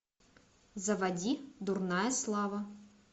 заводи дурная слава